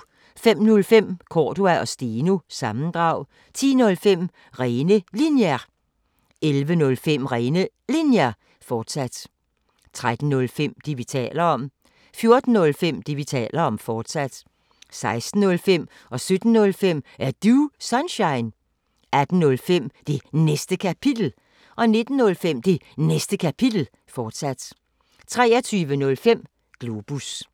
05:05: Cordua & Steno – sammendrag 10:05: Rene Linjer 11:05: Rene Linjer, fortsat 13:05: Det, vi taler om 14:05: Det, vi taler om, fortsat 16:05: Er Du Sunshine? 17:05: Er Du Sunshine? 18:05: Det Næste Kapitel 19:05: Det Næste Kapitel, fortsat 23:05: Globus